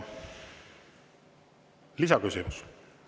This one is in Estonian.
Lisaküsimus.